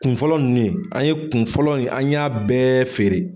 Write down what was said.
Kun fɔlɔ nunnu ye, an ye kun fɔlɔ in an y'a bɛɛ feere.